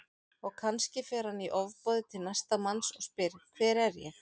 Og kannski fer hann í ofboði til næsta manns og spyr Hver er ég?